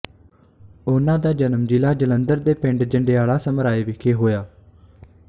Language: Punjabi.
ਉਹਨਾ ਦਾ ਜਨਮ ਜ਼ਿਲ੍ਹਾ ਜਲੰਧਰ ਦੇ ਪਿੰਡ ਜੰਡਿਆਲਾ ਸਮਰਾਏ ਵਿਖੇ ਹੋਇਆ